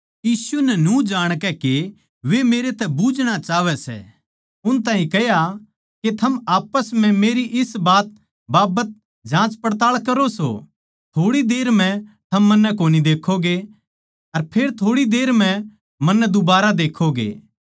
यीशु नै न्यू जाणकै के वे मेरतै बुझणा चाहवै सै उन ताहीं कह्या के थम आप्पस म्ह मेरी इस बात बाबत जाँचपड़ताळ करो सो थोड़ी देर म्ह थम मन्नै कोनी देक्खोगे अर फेर थोड़ी देर म्ह मन्नै दुबारा देक्खोगे